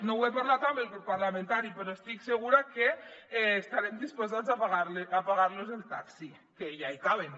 no ho he parlat amb el grup parlamentari però estic segura que estarem disposats a pagar los el taxi que ja hi caben